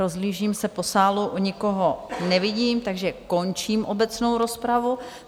Rozhlížím se po sálu, nikoho nevidím, takže končím obecnou rozpravu.